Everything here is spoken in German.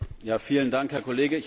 Vielen Dank, Herr Kollege!